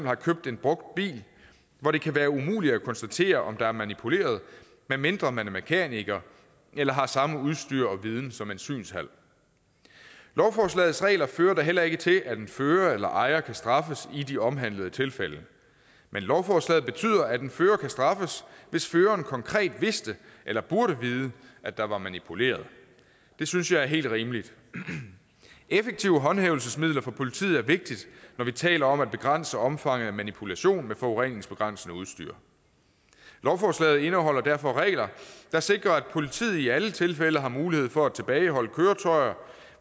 har købt en brugt bil hvor det kan være umuligt at konstatere om der er manipuleret medmindre man er mekaniker eller har samme udstyr og viden som en synshal lovforslagets regler fører da heller ikke til at en fører eller ejer kan straffes i de omhandlede tilfælde men lovforslaget betyder at en fører kan straffes hvis føreren konkret vidste eller burde vide at der var manipuleret det synes jeg er helt rimeligt effektive håndhævelsesmidler for politiet er vigtigt når vi taler om at begrænse omfanget af manipulation med forureningsbegrænsende udstyr lovforslaget indeholder derfor regler der sikrer at politiet i alle tilfælde har mulighed for at tilbageholde køretøjer